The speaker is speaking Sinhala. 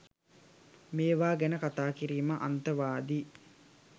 මේවා ගැන කතා කිරීම අන්තවාදී